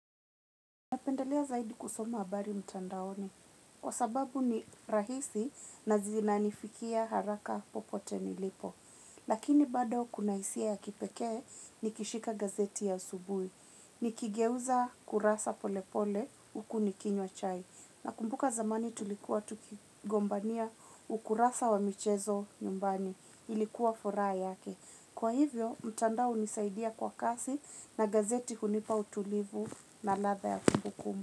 Napendelea zaidi kusoma habari mtandaoni. Kwa sababu ni rahisi na zinanifikia haraka popote nilipo. Lakini bado kuna hisia ya kipekee nikishika gazeti ya asubuhi. Nikigeuza kurasa pole pole huku nikinywa chai. Nakumbuka zamani tulikuwa tukigombania ukurasa wa michezo nyumbani. Ilikuwa furaha yake. Kwa hivyo, mtandao hunisaidia kwa kasi na gazeti hunipa utulivu na ladha ya kumbukumbu.